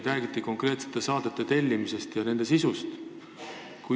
Räägiti konkreetsete saadete tellimisest ja nende sisust.